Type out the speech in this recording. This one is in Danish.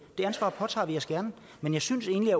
det ansvar påtager vi os gerne men jeg synes egentlig